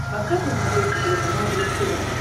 поставь на смотрешке телеканал бридж тв